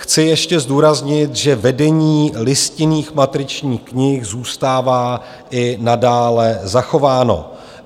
Chci ještě zdůraznit, že vedení listinných matričních knih zůstává i nadále zachováno.